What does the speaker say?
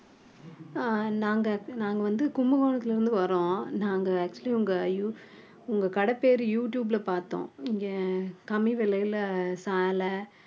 அஹ் நாங்க நாங்க வந்து கும்பகோணத்துல இருந்து வர்றோம் நாங்க actually உங்க யூ~ உங்க கடை பேரு யூடியூப்ல பார்த்தோம் இங்க கம்மி விலையில சேலை